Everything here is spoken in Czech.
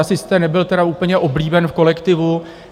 Asi jste nebyl tedy úplně oblíben v kolektivu.